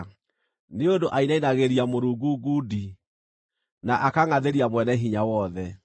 nĩ ũndũ ainainagĩria Mũrungu ngundi, na akangʼathĩria Mwene-Hinya-Wothe,